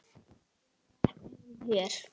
Ég á ekki heima hér.